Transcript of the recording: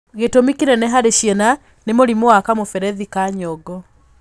Gĩtũmi kĩnene harĩ ciana nĩ mũrimũ wa kamũberethi ka nyongo.